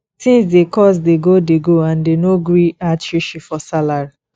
tins dey cost dey go dey go and dey no gree add shishi for salary